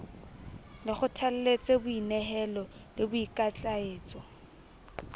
le kgothalletse boinehelo le boikitlaetso